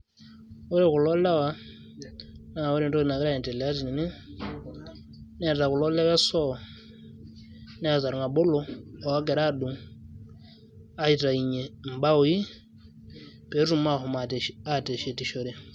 ore kulo lewa naa ore entoki nagira aendelea tene neeta kulo lewa e soo neeta irng'abolo ogira aadung aitainyie imbaoi peetum ahom aateshetishore.